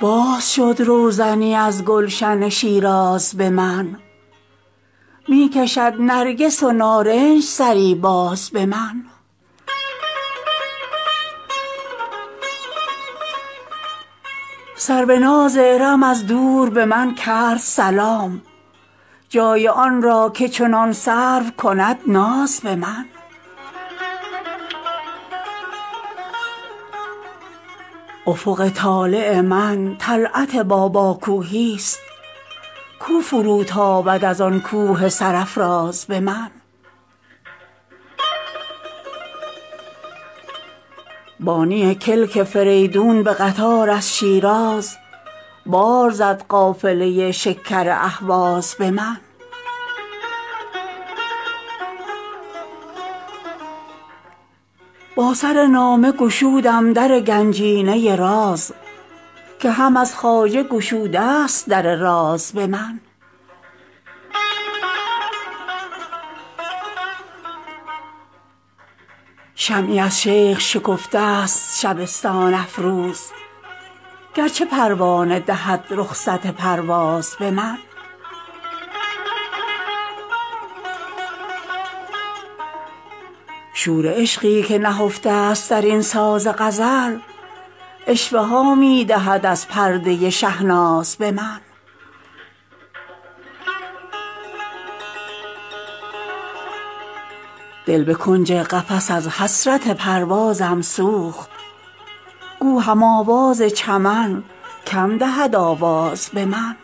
باز شد روزنی از گلشن شیراز به من می کشد نرگس و نارنج سری باز به من سروناز ارم از دور به من کرد سلام جای آن را که چنان سرو کند ناز به من آدم انگاشت به لطف ملکوتم شیراز که چنین سرو و سمن داشت سرانداز به من افق طالع من طلعت باباکوهی است کو فروتابد از آن کوه سرافراز به من گویی آتشکده پارس شکفت از سر شوق یاد شد از معبد زرتشت دری باز به من بانی کلک فریدون به قطار از شیراز بار زد قافله شکر اهواز به من با سر نامه گشودم در گنجینه راز که هم از خواجه گشوده است در راز به من شمعی از شیخ شکفته است شبستان افروز گرچه پروانه دهد رخصت پرواز به من شور عشقی که نهفته است در این ساز غزل عشوه ها می دهد از پرده شهناز به من دل به کنج قفس از حسرت پروازم سوخت گو هم آواز چمن کم دهد آواز به من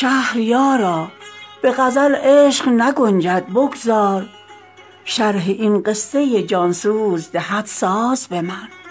تا چه بازی کند این بخت بدانجامم باز نردها باخته این عشق خوش آغاز به من نقشی از عهد عتیقم من و محو ای نقاش زحمت خود مده و خجلت پرواز به من شهریارا به غزل عشق نگنجد بگذار شرح این قصه جانسوز دهد ساز به من